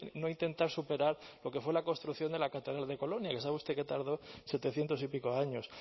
no intentar superar porque fue la construcción de la catedral de colonia que sabe usted que tardó setecientos y pico años